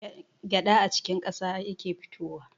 Gyaɗa a cikin ƙasa yake fitowa.